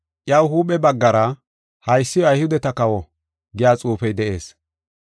Iyaw huuphe baggara, “Haysi Ayhudeta kawo” giya xuufey de7ees.